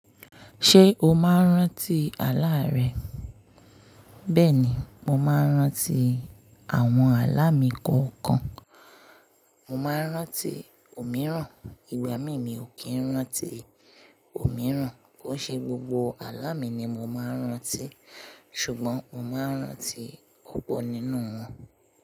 Ṣé o máa ń rántí àlá rẹ? Bẹ́ẹ̀ ni, mo máa ń rántí àwọn àlá mi kọ̀ọ̀kan. Mo máa ń rántí òmíràn, ìgbà mìíràn mi ò kí ń rántí òmíràn. Ó ṣe gbogbo àlá mi ni mo máa ń rántí. Ṣùgbọ́n mo máa ń rántí ọ̀pọ̀ nínú wọn.